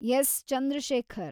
S. Chandrashekhar